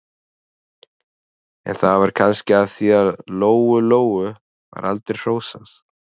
En það var kannski af því að Lóu-Lóu var aldrei hrósað.